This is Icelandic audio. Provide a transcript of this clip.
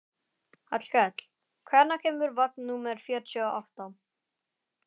Hallkell, hvenær kemur vagn númer fjörutíu og átta?